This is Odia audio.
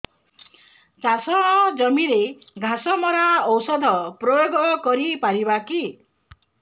ଚାଷ ଜମିରେ ଘାସ ମରା ଔଷଧ ପ୍ରୟୋଗ କରି ପାରିବା କି